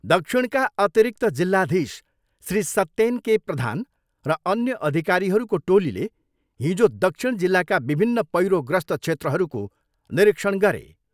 दक्षिणका अतिरिक्त जिल्लाधीश श्री सत्येन के प्रधान र अन्य अधिकारीहरूको टोलीले हिजो दक्षिण जिल्लाका विभिन्न पैह्रोग्रस्त क्षेत्रहरूको निरीक्षण गरे।